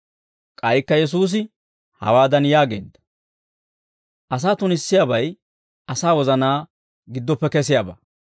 K'aykka Yesuusi hawaadan yaageedda; «Asaa tunissiyaabay asaa wozanaa giddoppe kesiyaabaa.